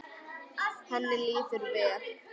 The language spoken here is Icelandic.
Henni líður vel?